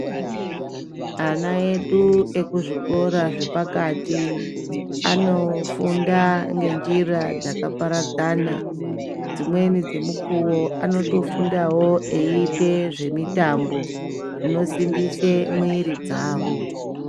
Ana edu eku zvikora zve pakati anofunda nge njira dzaka paradzana dzimweni dze mukuwo anoto fundawo eyi ite zve mitambo zvino simbise mwiri dzavo.